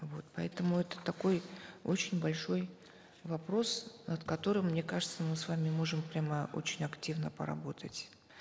вот поэтому это такой очень большой вопрос над которым мне кажется мы с вами можем прямо очень активно поработать